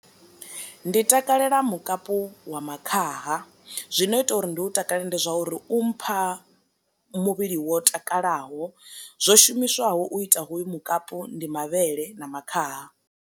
Ndi takalela mukapu wa makhaha, zwino ita uri ndi hu takalela ndi zwa uri u mpha muvhili wo takalaho, zwo shumiswaho u ita hoyu mukapu ndi mavhele na makhaha.